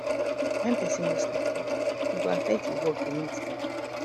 when pesin no sleep well e go affect e work the next day